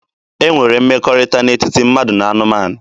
E nwere mmekọrịta n'etiti mmadụ na anụmanụ.